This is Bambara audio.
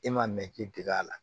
E ma mɛn k'i dege a la